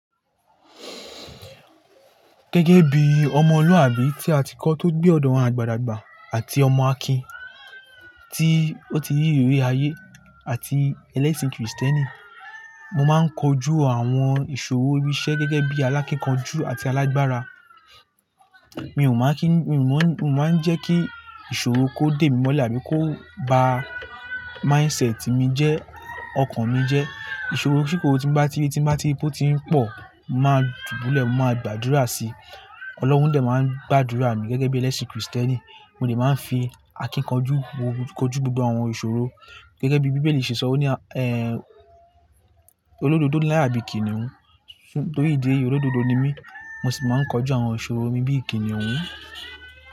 Gẹ́gẹ́ bí ọmọlúàbí tí a ti kọ́ tó gbé ọ̀dọ̀ àwọn àgbà dàgbà àti ọmọ Akin tí ó ti rí iriri ayé àti ẹlẹ́sìn Kristẹ́nì, mo máa ń kojú àwọn ìṣòro irinṣẹ́ gẹ́gẹ́ bí alákínkanjú àti alágbára. Mi ò máa ń kí, mi ò mọ́, mi o máa ń jẹ́ kí ìṣòro kó dé mi mọ́lẹ̀ àbí kó ba mindset mi jẹ́, ọkàn mi jẹ́. Ìṣòro kísoro tí n bá ti ri, tí n bá ti ri pe ó tí ń pọ̀, mo máa dùbúlẹ̀, mo máa gbàdúrà sí Ọlọ́run dé máa ń gbàdúrà mi gẹ́gẹ́ bí ẹlẹ́sìn Kristẹ́nì, mo de máa ń fi akínkanjú kojú gbogbo àwọn ìṣòro gẹ́gẹ́ bí Bíbélì ṣe sọ o ní, ẹ́, olódodo láya bíi kìnnìún. Nítorí ìdí eyi olódodo ni mí, mo sì máa ń kojú àwọn ìṣòro mi bí i kìnnìún.